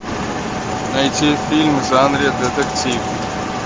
найти фильм в жанре детектив